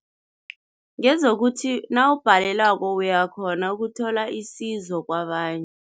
Ngezokuthi nawubhalelwako uyakghona ukuthola isizo kwabanye.